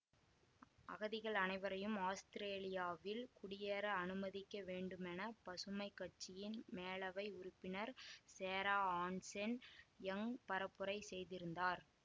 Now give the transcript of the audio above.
அகதிகள் அனைவரையும் ஸ் ஆஸ்திரேலியாவில் குடியேற அனுமதிக்க வேண்டுமென பசுமை கட்சியின் மேலவை உறுப்பினர் சேரா ஆன்சன்யங் பரப்புரை செய்திருந்தார்